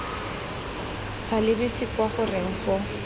sa lebise kwa goreng go